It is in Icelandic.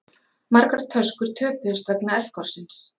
Margar töskur töpuðust vegna eldgossins